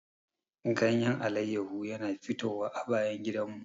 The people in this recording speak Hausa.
Ganyen alayyahu yana fitowa a bayan gidanmu.